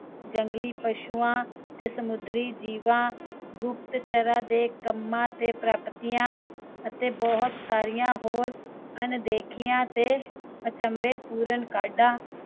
ਜੰਗਲੀ ਪਸ਼ੂਆਂ ਤੇ ਸਮੁੰਦਰੀ ਜੀਵਾਂ, ਗੁਪਤਚਰਾਂ ਦੇ ਕੰਮਾਂ ਤੇ ਪ੍ਰਾਪਤੀਆਂ ਤੇ ਹੋਰ ਸਾਰੀਆਂ ਬਹੁਤ ਅਣਦੇਖਿਆ ਤੇ ਅਚੰਭੇਪੂਰਨ ਕਾਡਾਂ